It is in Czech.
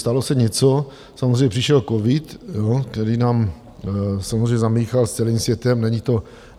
Stalo se něco, samozřejmě přišel covid, který nám samozřejmě zamíchal s celým světem.